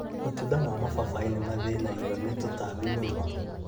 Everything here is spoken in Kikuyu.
Matunda ma mababaĩ nĩmathĩnagio nĩ tũtambi mũno